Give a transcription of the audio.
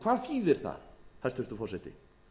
hvað þýðir það hæstvirtur forseti